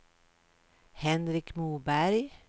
Henrik Moberg